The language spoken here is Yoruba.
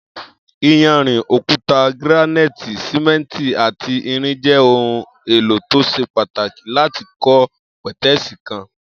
Iyanrìn, òkúta gíránáìtì, sìmé̩ǹtì àti irin je̩ ohun è̩lò tó s̩e pàtàkì láti kó̩ pè̩té̩è̩sì kan